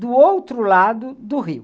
Do outro lado do rio.